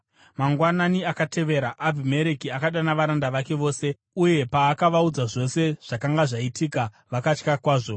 Mangwanani akatevera Abhimereki akadana varanda vake vose, uye paakavaudza zvose zvakanga zvaitika, vakatya kwazvo.